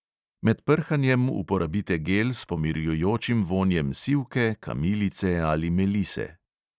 Med prhanjem uporabite gel s pomirjujočim vonjem sivke, kamilice ali melise.